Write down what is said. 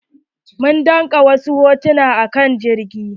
Mun dauƙa wasu hotuna a kan jirgi.